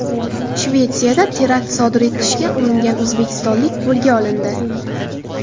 Shvetsiyada terakt sodir etishga uringan o‘zbekistonlik qo‘lga olindi.